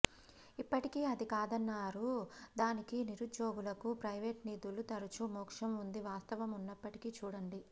ఇప్పటికీ అది కాదన్నారు దానికి నిరుద్యోగులకు ప్రైవేటు నిధులు తరచూ మోక్షం ఉంది వాస్తవం ఉన్నప్పటికీ చూడండి